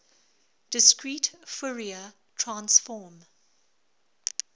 discrete fourier transform